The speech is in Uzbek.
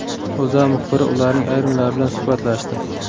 O‘zA muxbiri ularning ayrimlari bilan suhbatlashdi .